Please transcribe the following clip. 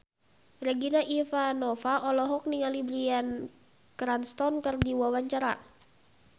Regina Ivanova olohok ningali Bryan Cranston keur diwawancara